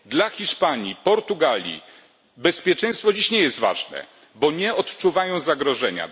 Dla Hiszpanii czy Portugalii bezpieczeństwo nie jest dziś ważne, bo nie odczuwają zagrożenia.